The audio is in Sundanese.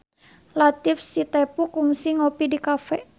Latief Sitepu kungsi ngopi di cafe